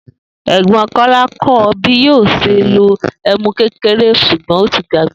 È̩gbó̩n Kó̩lá kó̩ o̩ bí yóò s̩e lo èmú kékeré s̩ùgbó̩n ó ti gbàgbé